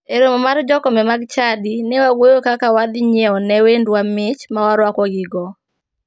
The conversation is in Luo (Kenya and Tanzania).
E romo mar jokombe mag chadi, ne wawuoyo kaka wadhi nyiewo ne wendwa mich ma waruakogigo.